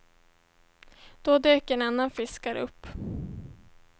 Då dök en annan fiskare upp.